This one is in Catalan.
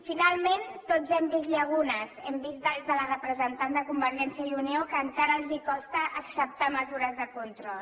finalment tots hem vist llacunes hem vist des de la representant de convergència i unió que encara els costa acceptar mesures de control